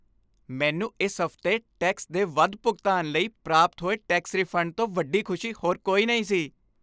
ਮੈਨੂੰ ਇਸ ਹਫ਼ਤੇ ਟੈਕਸ ਦੇ ਵੱਧ ਭੁਗਤਾਨ ਲਈ ਪ੍ਰਾਪਤ ਹੋਏ ਟੈਕਸ ਰਿਫੰਡ ਤੋਂ ਵੱਡੀ ਖੁਸ਼ੀ ਹੋਰ ਕੋਈ ਨਹੀਂ ਸੀ।